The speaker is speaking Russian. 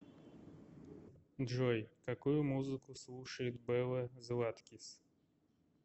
джой какую музыку слушает белла златкис